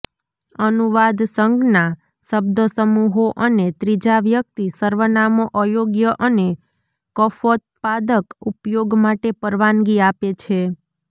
અનુવાદ સંજ્ઞા શબ્દસમૂહો અને ત્રીજા વ્યક્તિ સર્વનામો અયોગ્ય અને કફોત્પાદક ઉપયોગ માટે પરવાનગી આપે છે